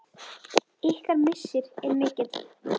Ykkar missir er mikill.